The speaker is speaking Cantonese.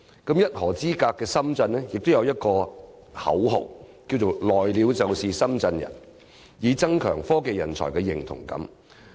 而一河之隔的深圳，亦有一個口號："來了就是深圳人"，以增強科技人才的認同感。